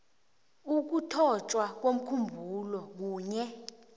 ukuthotjwa komkhumbulo kunye